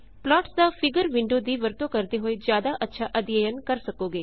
plots ਦਾ figure window ਦੀ ਵਰਤੋਂ ਕਰਦੇ ਹੋਏ ਜ਼ਿਆਦਾ ਅੱਛਾ ਅਧਿਅਨ ਕਰ ਸਕੋਗੇ